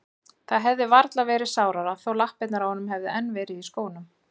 Það hefði varla verið sárara þó lappirnar á honum hefðu enn verið í skónum.